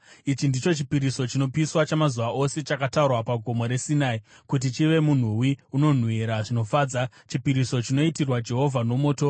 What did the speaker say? Ichi ndicho chipiriso chinopiswa chamazuva ose chakatarwa paGomo reSinai kuti chive munhuwi unonhuhwira zvinofadza, chipiriso chinoitirwa Jehovha nomoto.